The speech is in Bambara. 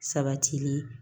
Sabatili